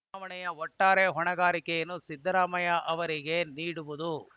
ಉಪ ಚುನಾವಣೆಯ ಒಟ್ಟಾರೆ ಹೊಣೆಗಾರಿಕೆಯನ್ನು ಸಿದ್ದರಾಮಯ್ಯ ಅವರಿಗೆ ನೀಡುವುದು